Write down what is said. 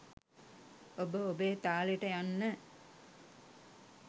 ඔබ ඔබේ තාලෙට යන්න